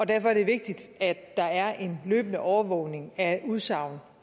derfor er det vigtigt at der er en løbende overvågning af udsagn